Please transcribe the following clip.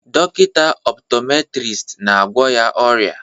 Dọkịta optometrist na-agwọ ya ọrịa